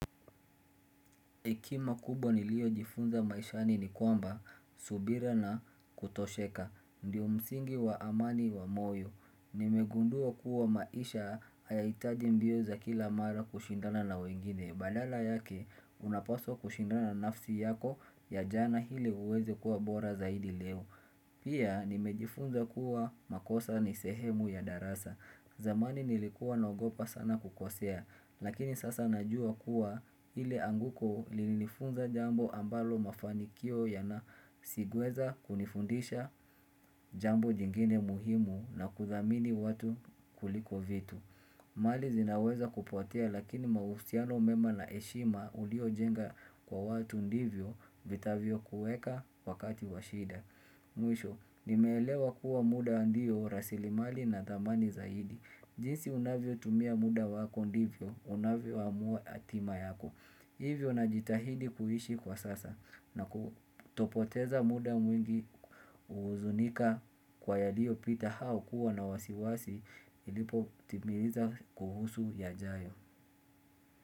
Hekima kubwa nilio jifunza maishani ni kwamba, subira na kutosheka, ndio umsingi wa amani wa moyo. Nimegundua kuwa maisha ayaitaji mbio za kila mara kushindana na wengine. Badala yake, unapaswa kushindana nafsi yako ya jana hile uweze kuwa bora zaidi leo. Pia, nimejifunza kuwa makosa ni sehemu ya darasa. Zamani nilikuwa naogopa sana kukosea, lakini sasa najua kuwa hile anguko lini nifunza jambo ambalo mafanikio yana sigweza kunifundisha. Jambo jingine muhimu na kuthamini watu kuliko vitu. Mali zinaweza kupotea lakini mausiano mema na eshima ulio jenga kwa watu ndivyo vitavyo kueka wakati washida. Mwisho, nimelewa kuwa muda andiyo, rasilimali na damani zaidi jinsi unavyo tumia muda wako ndivyo, unavyo amua atima yako Hivyo na jitahidi kuhishi kwa sasa na kutopoteza muda mwingi uzunika kwa yadiyo pita hao kuwa na wasiwasi. Ilipo timiliza kuhusu ya jayo.